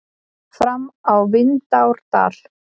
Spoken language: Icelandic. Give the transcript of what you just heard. Fram á Vindárdal.